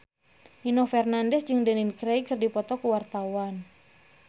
Nino Fernandez jeung Daniel Craig keur dipoto ku wartawan